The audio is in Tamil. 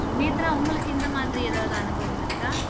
நேத்ரா உங்களுக்கு இந்த மாதிரி எதாவது அனுபவம் இருக்கா